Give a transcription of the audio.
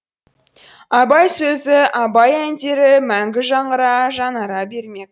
абай сөзі абай әндері мәңгі жаңғыра жаңара бермек